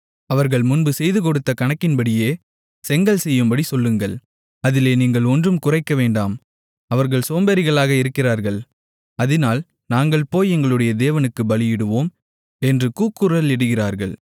அவர்கள் முன்பு செய்துகொடுத்த கணக்கின்படியே செங்கல் செய்யும்படி சொல்லுங்கள் அதிலே நீங்கள் ஒன்றும் குறைக்கவேண்டாம் அவர்கள் சோம்பேறிகளாக இருக்கிறார்கள் அதினால் நாங்கள் போய் எங்களுடைய தேவனுக்குப் பலியிடுவோம் என்று கூக்குரலிடுகிறார்கள்